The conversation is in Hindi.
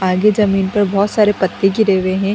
आगे जमीन पर बहुत सारे पत्ते गिरे हुए हैं।